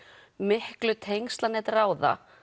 miklu tengslanet ráða